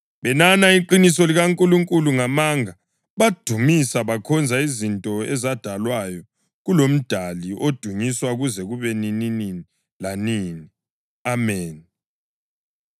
Benana iqiniso likaNkulunkulu ngamanga, badumisa bekhonza izinto ezadalwayo kuloMdali odunyiswa kuze kube nini lanini. Ameni.